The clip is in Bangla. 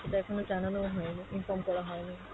সেটা এখনও জানানোও হয়নি, inform করা হয়নি।